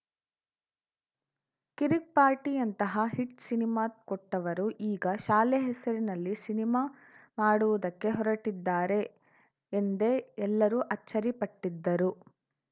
ಕಿರಿಕ್‌ ಪಾರ್ಟಿಯಂತಹ hit cinema ಕೊಟ್ಟವರು ಈಗ ಶಾಲೆ ಹೆಸರಿನಲ್ಲಿ ಸಿನಿಮಾ ಮಾಡುವುದಕ್ಕೆ ಹೊರಟಿದ್ದಾರೆ ಎಂದೇ ಎಲ್ಲರು ಅಚ್ಚರಿಪಟ್ಟಿದ್ದರು